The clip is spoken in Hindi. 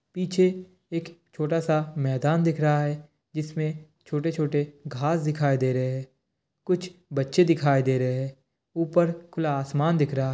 पीछे एक छोटा स मेदान दिख रहा हे । जिसमे छोटे छोटे घास दिखाई दे रहे हे । कुछ बच्चे दिखाई दे रहे हे । ऊपर खुला आसमान दिख रहा है।